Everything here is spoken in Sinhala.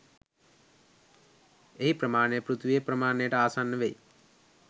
එහි ප්‍රමාණය පෘථිවියේ ප්‍රමාණයට ආසන්න වෙයි